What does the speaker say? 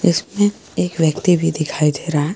इसमें एक व्यक्ति भी दिखाई दे रहा है।